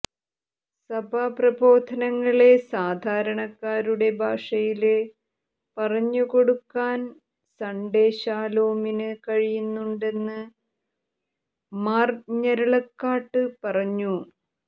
സഭാ പ്രബോധനങ്ങളെ സാധാരണക്കാരുടെ ഭാഷയില് പറഞ്ഞുകൊടുക്കാന് സണ്ഡേ ശാലോമിന് കഴിയുന്നുണ്ടെന്ന് മാര് ഞരളക്കാട്ട് പറഞ്ഞു